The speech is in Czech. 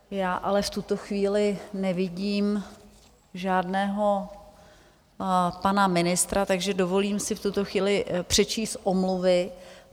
Já ale v tuto chvíli nevidím žádného pana ministra, takže dovolím si v tuto chvíli přečíst omluvy.